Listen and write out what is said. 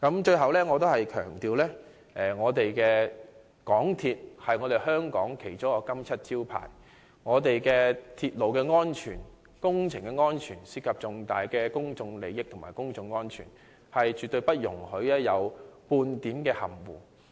最後，我再次強調，港鐵公司是香港其中一個金漆招牌，我們的鐵路安全及工程安全涉及重大的公眾利益及公眾安全，絕對不容許有半點含糊。